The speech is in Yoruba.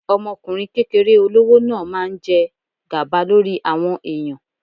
Ọmọkùnrin kékeré olówó náà máa ń jẹ gàba lórí àwọn ẹ̀yàn.